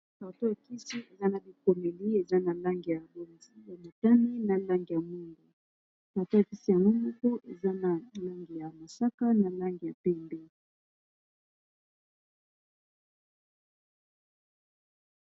Carton ya kisi eza na bikomeli eza na langi ya bozi ya motane na langi ya mwindu carton ya kisi yango moko eza na langi ya mosaka na langi ya pembe.